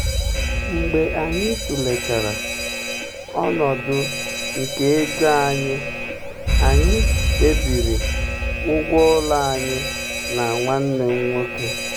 mgbe anyị tụlechara um ọnọdụ nke ego anyị anyị kpebiri ụgwọ ụlọ anyị um na nwanne m nwoke.